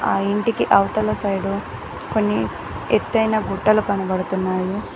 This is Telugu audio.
ఆ ఇంటికి అవతల సైడు కొన్ని ఎత్తైన గుట్టలు కనబడుతున్నాయి.